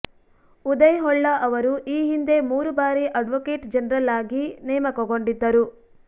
ಉದಯ್ ಹೊಳ್ಳ ಅವರು ಈ ಹಿಂದೆ ಮೂರು ಬಾರಿ ಅಡ್ವೊಕೇಟ್ ಜನರಲ್ ಆಗಿ ನೇಮಕಗೊಂಡಿದ್ದರು